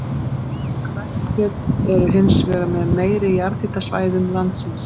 Kverkfjöll eru hins vegar með meiri jarðhitasvæðum landsins.